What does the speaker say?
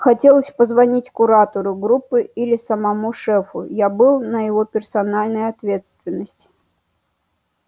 хотелось позвонить куратору группы или самому шефу я был на его персональной ответственности